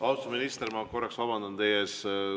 Austatud minister, ma korraks vabandan teie ees.